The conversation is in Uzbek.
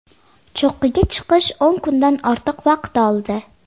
Cho‘qqiga chiqish o‘n kundan ortiq vaqt oldi.